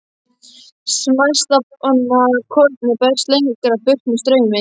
Smæsta kornið berst lengra burt með straumi.